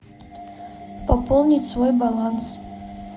пополнить свой баланс